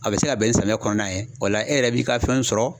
A be se ka bɛn ni samiyɛ kɔnɔna ye o la e yɛrɛ b'i ka fɛnw sɔrɔ